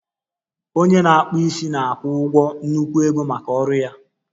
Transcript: Onye na-akpụ isi na-akwụ ụgwọ nnukwu ego maka ọrụ ya